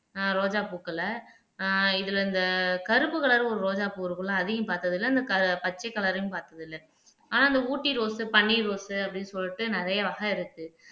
ஆஹ் ரோஜா பூக்களை ஆஹ் இதுல இந்த கருப்பு கலர் ஒரு ரோஜாப்பூ இருக்கும்ல அதையும் பார்த்ததில்லை இந்த க பச்சை கலரையும் ஆனா இந்த ஊட்டி ரோஸ் பன்னீர் ரோஸ் அப்படீன்னு சொல்லிட்டு நிறைய வகை இருக்கு